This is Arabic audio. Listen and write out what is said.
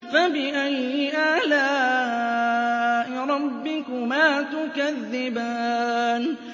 فَبِأَيِّ آلَاءِ رَبِّكُمَا تُكَذِّبَانِ